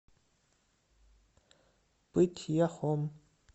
пыть яхом